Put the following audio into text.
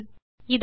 சரி இதோ